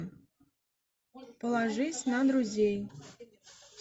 положись на друзей